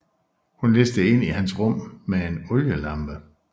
Hun listede ind i hans rum med en olielampe